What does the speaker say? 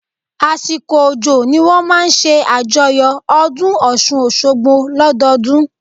Àsìkò òjò ni wọ́n máa ń ṣe àjọyọ̀ ọdún Ọ̀ṣun-Òṣogbo lọ́dọọdún